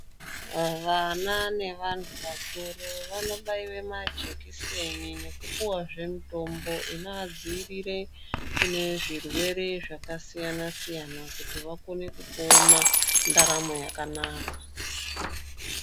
Vana nevantu vakuru vanobaiwe majikiseni nekupuwazve mutombo inoadziirire kune zvirwere zvakasiyana-siyana kuti vakone kupona ndaramo yakanaka.